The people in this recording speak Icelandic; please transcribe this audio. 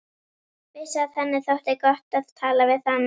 Vissi að henni þótti gott að tala við hana.